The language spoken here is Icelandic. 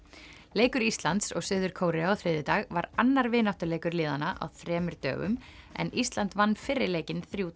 leikur Íslands og Suður Kóreu á þriðjudag var annar vináttuleikur liðanna á þremur dögum en Ísland vann fyrri leikinn þremur